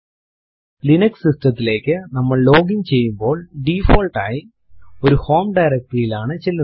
Linux system തിലേക്കു നമ്മൾ login ചെയ്യുമ്പോൾ ഡിഫോൾട്ട് ആയി ഒരു ഹോം directory യിൽ ആണ് ചെല്ലുന്നത്